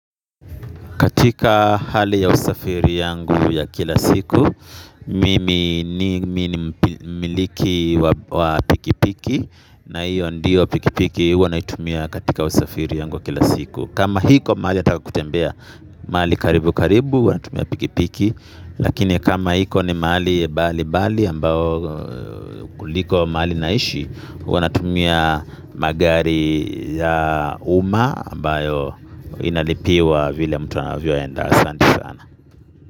Katika hali ya usafiri yangu ya kila siku, mimi ni mmiliki wa pikipiki na hiyo ndiyo pikipiki huwa naitumia katika usafiri wangu wa kila siku. Kama iko mahali nataka kutembea mahali karibu karibu natumia pikipiki lakini kama iko ni mahali mbalimbali ambayo kuliko mahali naishi huwa natumia magari ya umma ambayo yanalipiwa vile mtu anavyokwenda. Asante sana.